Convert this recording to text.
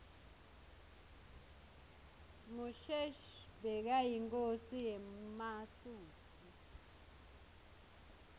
mushoeshoe bekayinkhosi yemasuthu